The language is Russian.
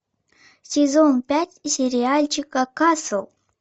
сезон пять сериальчика касл